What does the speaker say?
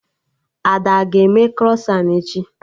Ada aga eme krọsan echi?